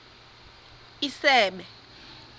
isebe